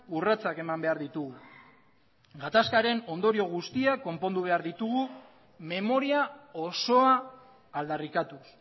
urratsak eman behar ditugu gatazkaren ondorio guztiak konpondu behar ditugu memoria osoa aldarrikatuz